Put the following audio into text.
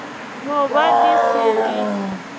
no ba di se di